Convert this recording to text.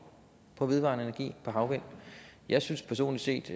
for vedvarende energi for havvind jeg synes personlig set